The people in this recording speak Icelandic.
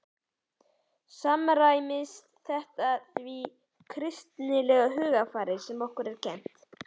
Samræmist þetta því kristilega hugarfari sem okkur er kennt?